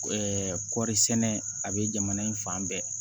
kɔɔri sɛnɛ a bɛ jamana in fan bɛɛ